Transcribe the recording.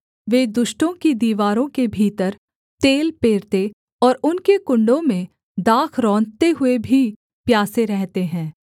वे दुष्टों की दीवारों के भीतर तेल पेरते और उनके कुण्डों में दाख रौंदते हुए भी प्यासे रहते हैं